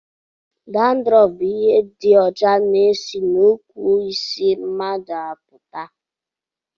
Dandrọfu bụ ihe dị ọcha na-esi n'ukwu isi mmadụ apụta